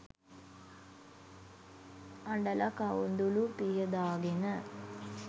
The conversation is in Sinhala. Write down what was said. අඬල කඳුළු පිහ දාගෙන